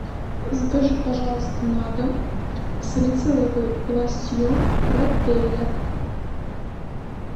закажи пожалуйста на дом салициловый лосьон пропеллер